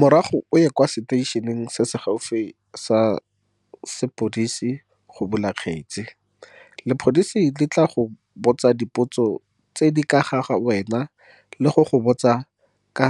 Morago o ye kwa seteišeneng se se gaufi sa sepodisi go bula kgetse. Lepodisi le tla go botsa dipotso tse di ka ga wena le go go botsa ka